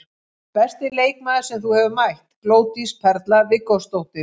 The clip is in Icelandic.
Besti leikmaður sem þú hefur mætt: Glódís Perla Viggósdóttir.